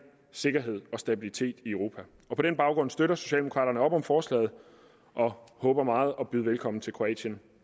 sikkerhed og stabilitet i europa og på den baggrund støtter socialdemokraterne op om forslaget og håber meget at kunne byde velkommen til kroatien